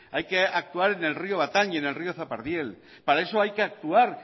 hay que actuar en el río batan en el río zapardiel para eso hay que actuar